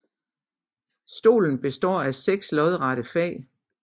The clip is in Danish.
Stolen består af seks lodrette fag